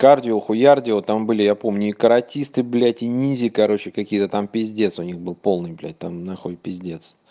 кардио хуярдио там были я помню и каратисты блядь и ниндзя короче какие-то там пиздец у них был полным блядь там на хуй пиздец